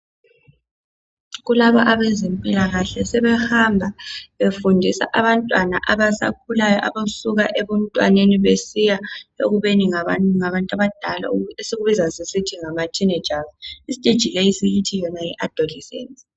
Kukhona abezempilakahle asebehamba befundisa abantwana asebekhulile. labo bantwana kuthiwa zintombi lamajaha.